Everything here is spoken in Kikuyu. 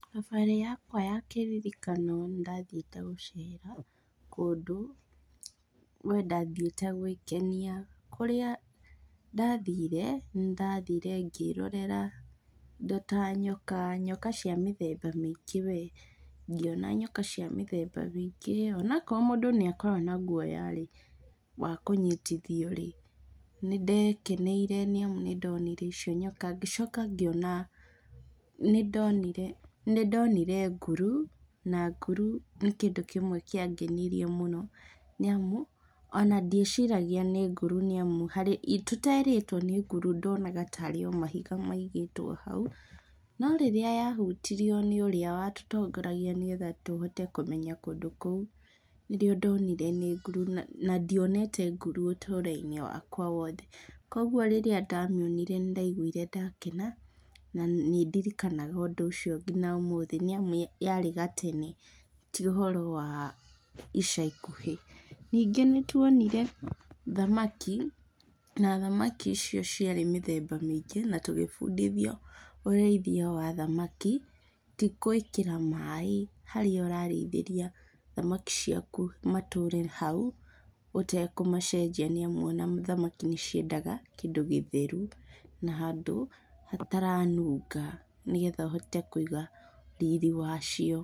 Thabarĩ yakwa ya kĩririkano nĩ ndathiĩte gũcera, kũndũ, we ndathiĩte gwĩkenia, kũrĩa ndathire, nĩ ndathire ngĩrorera indo ta nyoka, nyoka cĩa mĩthemba mĩingĩ we, ngĩona nyoka cĩa mĩthemba mĩingĩ, onakorwo mũndũ nĩ akoragwo na gwoyarĩ wa kũnyitithiorĩ, nĩ ndekeneire nĩ amu nĩ ndonire icio nyoka, ngĩcoka ngĩona, nĩ ndonire, nĩ ndonire nguru, na nguru nĩ kindũ kĩmwe kĩa ngenirie mũno, nĩ amu, ona ndieciragia nĩ nguru, nĩ amu, harĩ tũterĩtwo nĩ nguru ndonaga tarĩ o mahiga maigĩtwo hau, norĩrĩa ya hutirio nĩ ũrĩa wa tũtongoragia nĩgetha tũhote kũmenya kũndũ kũu, nĩrĩo ndonire nĩ nguru, na na ndionete nguru ũtũro -inĩ wakwa wothe, kogwo rĩrĩa ndamĩonire nĩ ndaigwire ndakena, na nĩ ndirikanaga ũndũ ũcio ngina ũmũthĩ, nĩ amu yarĩ gatene ti ũhoro wa ica ikuhĩ, ningĩ nĩ twonire thamaki, na thamaki icio ciarĩ mĩthemba maingĩ, na tũgĩbundithio ũrĩithia wa thamaki, ti gwĩkĩra maaĩ harĩa ũrarĩithĩria thamaki ciaku matũre hau, ũtekũmacenjia, nĩ amu ona thamaki nĩ ciendaga kĩndũ gĩtheru, na handũ hataranunga nĩgetha ũhote kũiga riri wacio.